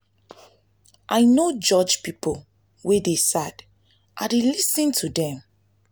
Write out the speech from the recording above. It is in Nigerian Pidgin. i no dey judge pipo wey dey sad i dey lis ten to dem.